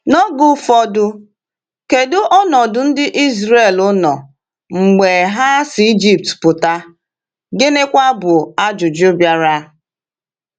N’oge ụfọdụ, kedu ọnọdụ ndị Ịzrel nọ mgbe ha si Ịjipt pụta, gịnịkwa bụ ajụjụ bịara?